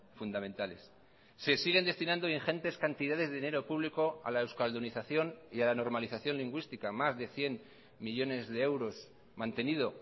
fundamentales se siguen destinando ingentes cantidades de dinero público a la euskaldunización y a la normalización lingüística más de cien millónes de euros mantenido